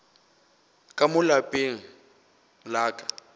ka mo lapeng la ka